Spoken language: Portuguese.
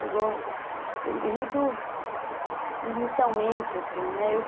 Chegou... E muito inicialmente, assim, né?